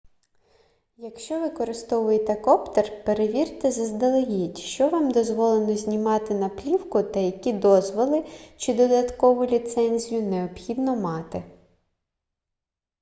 якщо використовуєте коптер перевірте заздалегідь що вам дозволено знімати на плівку та які дозволи чи додаткову ліцензію необхідно мати